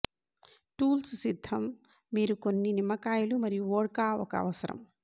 tools సిద్ధం మీరు కొన్ని నిమ్మకాయలు మరియు వోడ్కా ఒక అవసరం